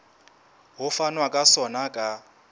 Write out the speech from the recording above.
ho fanwa ka sona ka